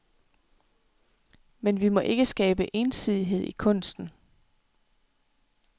Men vi må ikke skabe ensidighed i kunsten.